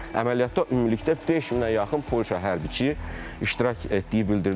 Əməliyyatda ümumilikdə 5000-ə yaxın Polşa hərbiçi iştirak etdiyi bildirilir.